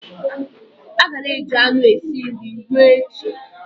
A ga-ana eji anụ esi nri ruo echi.